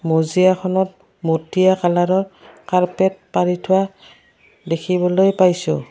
মজিয়া খনত মটিয়া কালাৰৰ কাৰ্পেট পাৰি থোৱা দেখিবলৈ পাইছোঁ।